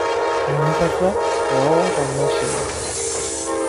Enyorata oonkanashera.